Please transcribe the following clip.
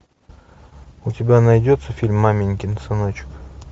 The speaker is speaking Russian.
у тебя найдется фильм маменькин сыночек